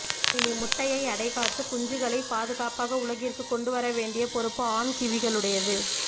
இனி முட்டையை அடைகாத்து குஞ்சுகளைப் பாதுகாப்பாக உலகிற்குக் கொண்டு வர வேண்டிய பொறுப்பு ஆண் கிவிகளுடையது